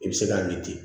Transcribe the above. I bɛ se k'a min ten